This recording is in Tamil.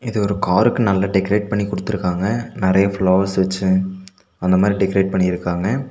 இது ஒரு காருக்கு நல்லா டெக்ரேட் பண்ணி குடுத்திருக்காங்க நறைய ஃப்ளவர்ஸ் வெச்சு அந்த மாரி டெக்கரேட் பண்ணிருக்காங்க.